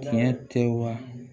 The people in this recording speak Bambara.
Tiɲɛ tɛ wa